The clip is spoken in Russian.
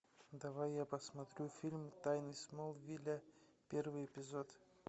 давай я посмотрю фильм тайны смолвиля первый эпизод